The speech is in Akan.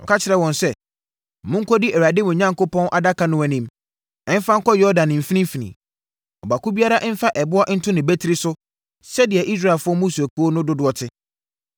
na ɔka kyerɛɛ wɔn sɛ, “Monkɔdi Awurade, mo Onyankopɔn, adaka no anim mfa nkɔ Yordan mfimfini. Ɔbaako biara mfa ɛboɔ nto ne batiri so sɛdeɛ Israelfoɔ mmusuakuo no dodoɔ te,